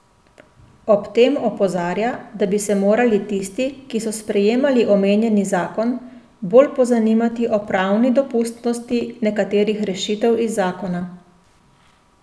Ob tem opozarja, da bi se morali tisti, ki so sprejemali omenjeni zakon, bolj pozanimati o pravni dopustnosti nekaterih rešitev iz zakona.